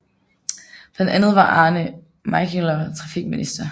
Blandt andet var Arne Melchior trafikminister